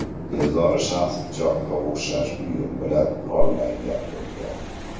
Bezori shaxs pichoqqa o‘xshash buyum bilan qurollangan bo‘lgan.